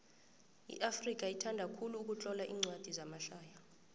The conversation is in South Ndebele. iafrika ithanda khulu ukutlola incwadi zamahlaya